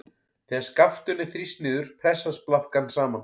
Þegar skaftinu er þrýst niður pressast blaðkan saman.